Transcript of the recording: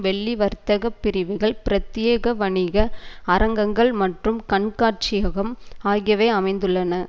வெள்ளி வர்த்தக பிரிவுகள் பிரத்தியேக வணிக அரங்கங்கள் மற்றும் கண்காட்சியகம் ஆகியவை அமைந்துள்ளன